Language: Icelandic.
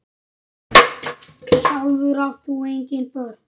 Sjálfur átt þú engin börn.